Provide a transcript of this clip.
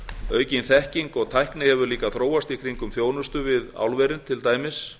aukin þekking og tækni hefur líka þróast í kringum þjónustu við álverin til dæmis